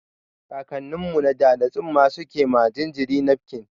Kakannin mu na da, da tsumma suke ma jinjiri nafkin.